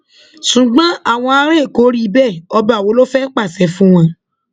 ṣùgbọn àwọn ará èkó ò rí bẹẹ ọba wo ló fẹẹ pàṣẹ fún wọn